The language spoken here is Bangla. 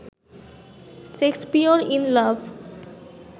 Shakespeare in love